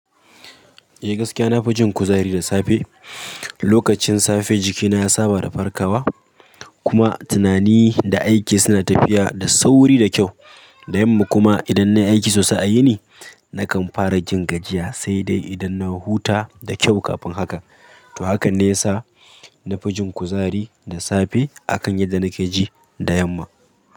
Eh gaskiya na fi jin kuzari da safe. Lokacin safe jikina ya saba da farkawa kuma tunani da aiki suna tafiya da sauri da kyau. Da yamma kuma idan na yi aiki sosai a yini, na kan fara jin gajiya sai dai idan na huta da kyau kafin haka. To haka ne ya sa na fi jin kuzari da safe akan yadda nake ji da yamma.